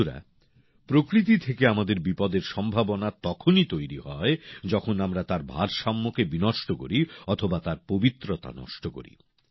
বন্ধুরা প্রকৃতি থেকে আমাদের বিপদের সম্ভাবনা তখনই তৈরি হয় যখন আমরা তার ভারসাম্যকে বিনষ্ট করি অথবা তার পবিত্রতা নষ্ট করি